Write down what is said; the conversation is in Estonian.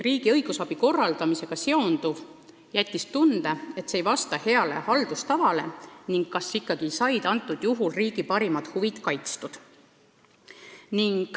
Riigi õigusabi korraldamisega seonduv jättis tunde, et see ei vasta heale haldustavale, ning on tekkinud kahtlus, kas riigi huvid on ikka kaitstud.